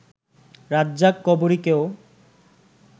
রাজ্জাক-কবরীকেও